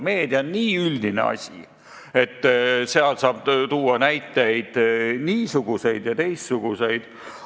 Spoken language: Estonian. Meedia on nii üldine asi, et saab tuua niisuguseid ja teistsuguseid näiteid.